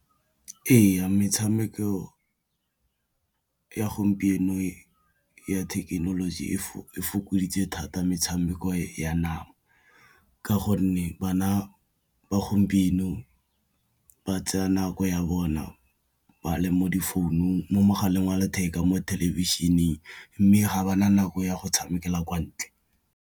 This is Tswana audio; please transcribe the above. Ee, metshameko ya gompieno ya thekenoloji e fokoditse thata metshameko ya nama, ka gonne bana ba gompieno ba tsaya nako ya bona ba le mo mogaleng wa letheka, mo thelebišeneng mme ga ba na nako ya go tshamekela kwa ntle.